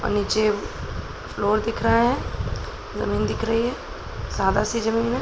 और नीचे फ्लोर दिख रहा है जमीन दिख रही है सादा सी जमीन है।